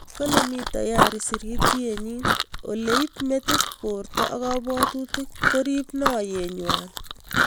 Kalee mii tayarii sirityeet nyii oleeb metit, boorta, ak kabwaato koriib naaryeet ng'wai